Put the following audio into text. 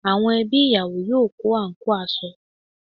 Àwọn ẹbí ìyàwó yóò kó àǹkóò aṣọ